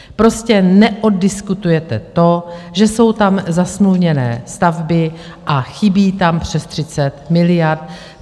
Prostě neoddiskutujete to, že jsou tam zasmluvněné stavby a chybí tam přes 30 miliard.